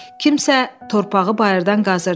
Kimsə torpağı bayırdan qazırdı.